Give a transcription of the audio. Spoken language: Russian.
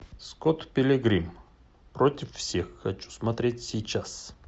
скотт пилигрим против всех хочу смотреть сейчас